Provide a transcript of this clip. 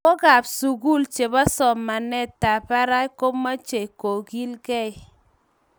Lagookab sugul chebo somanetab barak komechei kogilgei